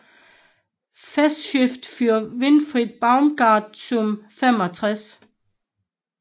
Festschrift für Winfried Baumgart zum 65